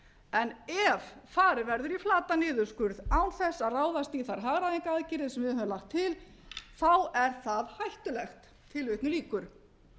en ef farið verður í flatan niðurskurð án þess að ráðast í þær hagræðingaraðgerðir sem við höfum lagt til þá er það hættulegt hulda segist